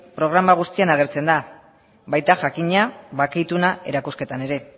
programa guztian agertzen da baita jakina bake ituna erakusketan ere